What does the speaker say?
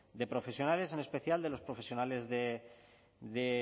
de profesionales en especial de los profesionales